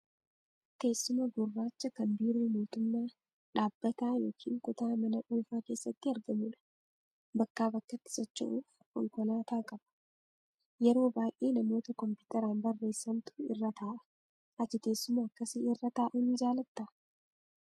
Teessuma gurraacha kan biiroo mootummaa, dhaabbataa, yookiin kutaa mana dhuunfaa keessatti argamudha. Bakkaa bakkatti socho'uf konkolaataa qaba. Yeroo baay'ee namoota kompiitaraan barreessantu irra taa'a. Ati teessuma akkasii irra taa'uu ni jaalattaa?